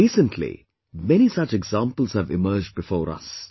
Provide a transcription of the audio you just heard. Recently, many such examples have emerged before us